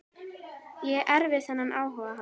Ég erfði þennan áhuga hans.